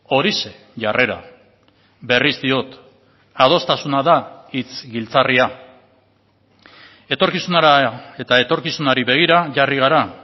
horixe jarrera berriz diot adostasuna da hitz giltzarria etorkizunera eta etorkizunari begira jarri gara